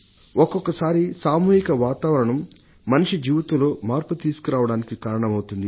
ఒక్కొక్క సారి సామూహిక వాతావరణం మనిషి జీవితంలో మార్పు తీసుకురావడానికి కారణమవుతుంది